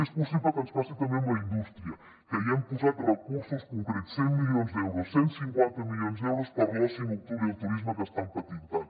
és possible que ens passi també amb la indústria que hi hem posat recursos concrets cent milions d’euros cent i cinquanta milions d’euros per a l’oci nocturn i el turisme que estan patint tant